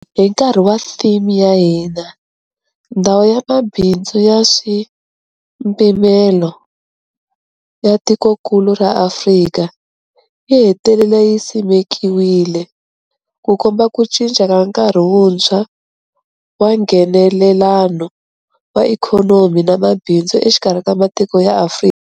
Hi nkarhi wa theme ya hina, Ndhawu ya Mabindzu ya Nkaswipimelo ya Tikokulu ra Afrika yi hetelele yi simekiwile, Ku komba ku cinca ka nkarhi wuntshwa wa Nghenelelano wa ikhonomi na mabindzu exikarhi ka matiko ya Afrika.